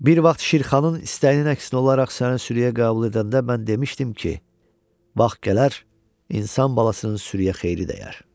Bir vaxt Şirxanın istəyinə əks olaraq səni sürüə qəbul edəndə mən demişdim ki, vaxt gələr insan balasının sürüə xeyri dəyər.